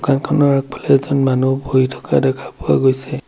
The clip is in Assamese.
দোকানখনৰ আগফালে এজন মানুহ বহি থকা দেখা পোৱা গৈছে।